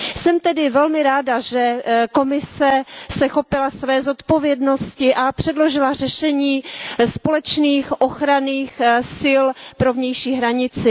Jsem tedy velmi ráda, že Komise se chopila své zodpovědnosti a předložila řešení společných ochranných sil pro vnější hranici.